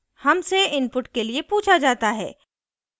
हमसे input के लिए पूछा जाता है